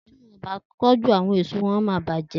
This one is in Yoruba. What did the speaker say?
Ti wọn kò bá tójú àwon èèso wọ́n máa bàjẹ́